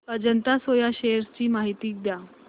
Ajanta soya shares ची माहिती द्या